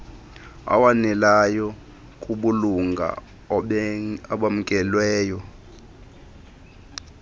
awaneleyo kubulunga obamkelweyo